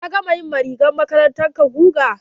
Ka gama yi wa rigar makarantar ka guga?